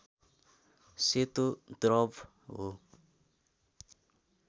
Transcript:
सेतो द्रव हो